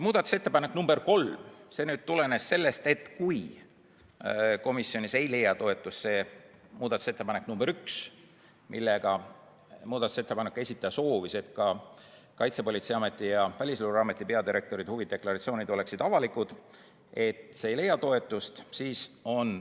Muudatusettepanek nr 3 tulenes, et komisjonis ei leia toetust muudatusettepanek nr 1, mille esitaja soovis, et ka Kaitsepolitseiameti ja Välisluureameti peadirektori huvide deklaratsioon oleksid avalikud.